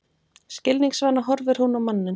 Skilningsvana horfir hún á manninn.